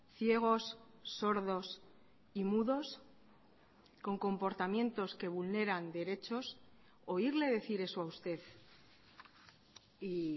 ciegos sordos y mudos con comportamientos que vulneran derechos oírle decir eso a usted y